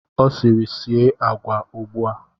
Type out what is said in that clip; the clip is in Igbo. Ọ sịrị, sie agwa a ugbu a!